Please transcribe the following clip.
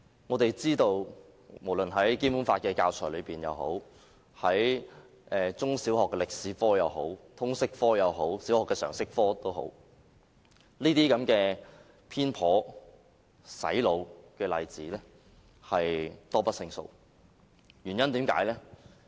我們知道無論是《基本法》的教材、中小學的歷史科、通識科或小學的常識科，這些偏頗、"洗腦"的例子多不勝數。